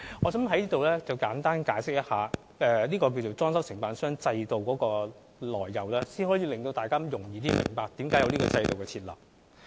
我想在此簡單解釋一下，裝修承辦商制度的來由，讓大家較容易明白這個制度設立的原因。